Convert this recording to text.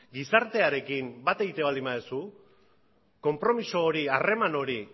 gizartearekin bat egiten baldin baduzu konpromiso hori harreman hori